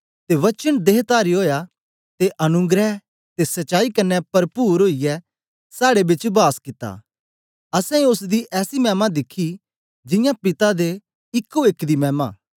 ते वचन देहतारी ओया ते अनुग्रह ते सच्चाई कन्ने परपुर ओईयै साड़े बिच वास कित्ता असैं ओसदी ऐसी मैमा दिखी जियां पिता दे इको एक दी मैमा